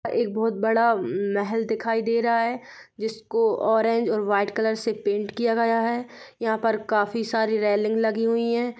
एक बोहत बड़ा म मेहेल दिखाई दे रहा है जिसको ऑरेंज और व्हाइट कलर से पेंट किया गया है| यहाँ पर काफी सारी रेलिंग लगी हुई है।